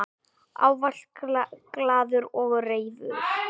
Ávallt glaður og reifur.